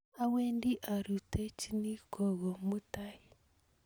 awendi aruitochin gogo mutai